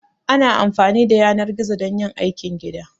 Ana amfani da yanar gizo don yin aikin gida